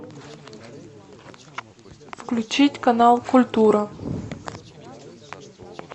включить канал культура